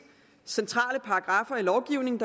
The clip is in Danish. centrale paragraffer i lovgivningen